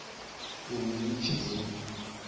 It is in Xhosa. in which they